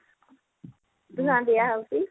ଧୂଆଁ ଦିଆ ହଉଛି